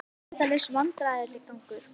Endalaus vandræðagangur.